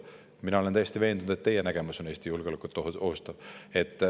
Mina olen täiesti veendunud, et teie nägemus ohustab Eesti julgeolekut.